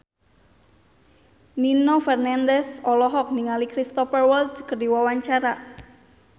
Nino Fernandez olohok ningali Cristhoper Waltz keur diwawancara